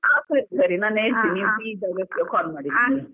ಹಾ ಸರಿ ಸರಿ ನಾನು ಹೇಳ್ತೇನೆ .